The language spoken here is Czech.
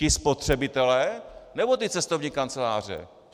Ti spotřebitelé, nebo ty cestovní kanceláře?